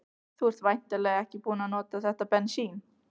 Þú ert væntanlega ekki búinn að nota þetta bensín?